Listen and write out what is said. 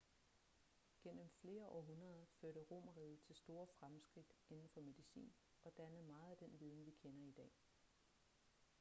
gennem flere århundreder førte romerriget til store fremskridt inden for medicin og dannede meget af den viden vi kender i dag